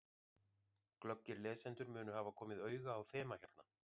Glöggir lesendur munu hafa komið auga á þema hérna.